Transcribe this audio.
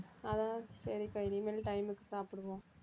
அதான் சரிக்கா இனிமேல் time க்கு சாப்பிடுவோம்